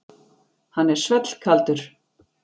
Hann er svellkaldur.